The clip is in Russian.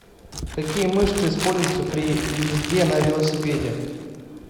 какие мышцы используются при езде на велосипеде